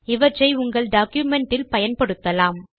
இவற்றை உங்கள் டாக்குமென்ட் இல் பயன்படுத்தலாம்